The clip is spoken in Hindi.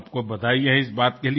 आपको बधाई है इस बात के लिए